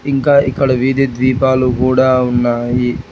ఇంకా ఇక్కడ విధి ద్వీపాలు కుడా ఉన్నాయి.